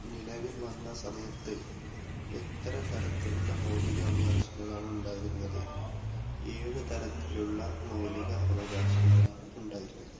നിലവിൽ വന്ന സമയത്ത് എത്ര തരത്തിലുള്ള മൗലിക അവകാശങ്ങളാണ് ഉണ്ടായിരുന്നത്? ഏഴ് തരത്തിലുള്ള മൗലിക അവകാശങ്ങളാണ് ഉണ്ടായിരുന്നത്.